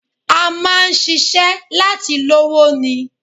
A máa ń ṣiṣẹ́ láti lówó ni